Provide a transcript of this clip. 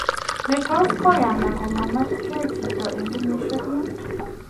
Nee netos koyaang komamwetgeei chito en keyisiek muut?